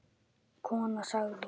Konan sagði